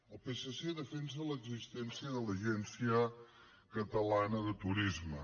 el psc defensa l’existència de l’agència catalana de turisme